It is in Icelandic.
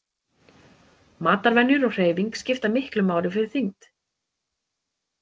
Matarvenjur og hreyfing skipta miklu máli fyrir þyngd.